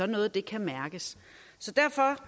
noget kan mærkes så derfor